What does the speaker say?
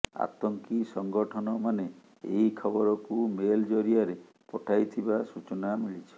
ଆତଙ୍କୀ ସଙ୍ଗଠନମାନେ ଏହି ଖବରକୁ ମେଲ ଜରିଆରେ ପଠାଇଥିବା ସୂଚନା ମିଳିଛି